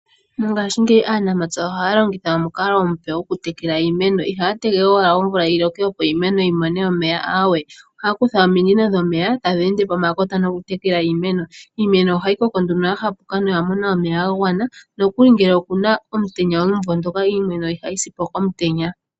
Mongashingeyi aanamapya ohaya longitha omukalo omuoe goku tekela iimeno ihaya tegelele we omvula yiloke opo iimeno yimone omeya aawe ohaya kutha ominino dhomeya tadhi ende pomakota noku tekelela iimeno. Iimeno ohayi koko nduno yahapuka no oyamona omeya gagwana nokuli ngele okuna omutenya omumvo ngono iimeno ihayi sipo komutenya.